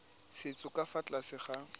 setso ka fa tlase ga